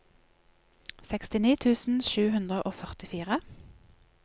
sekstini tusen sju hundre og førtifire